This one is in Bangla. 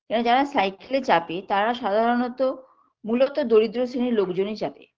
কারণ যারা cycle -এ চাপে তারা সাধারণত মূলত দরিদ্র শ্রেণীর লোকজনই চাপে